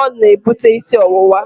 ọ na-ebute isi ọwụwa.